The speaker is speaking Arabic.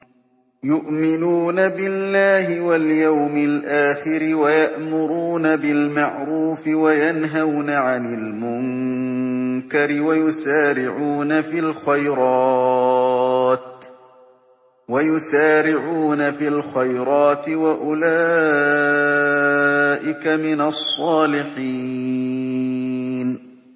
يُؤْمِنُونَ بِاللَّهِ وَالْيَوْمِ الْآخِرِ وَيَأْمُرُونَ بِالْمَعْرُوفِ وَيَنْهَوْنَ عَنِ الْمُنكَرِ وَيُسَارِعُونَ فِي الْخَيْرَاتِ وَأُولَٰئِكَ مِنَ الصَّالِحِينَ